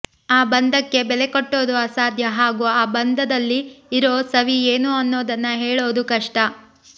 ಆ ಬಂಧಕ್ಕೆ ಬೆಲೆ ಕಟ್ಟೋದು ಅಸಾಧ್ಯ ಹಾಗೂ ಆ ಬಂಧದಲ್ಲಿ ಇರೋ ಸವಿ ಏನು ಅನ್ನೋದನ್ನ ಹೇಳೋದು ಕಷ್ಟ